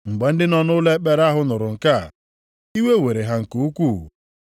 Mgbe ndị nọ nʼụlọ ekpere ahụ nụrụ nke a, iwe were ha nke ukwuu.